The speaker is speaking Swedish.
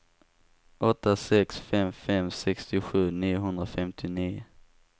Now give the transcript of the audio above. åtta sex fem fem sextiosju niohundrafemtionio